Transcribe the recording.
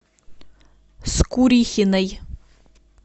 скурихиной